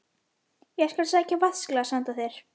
Ég skal sækja vatnsglas handa þér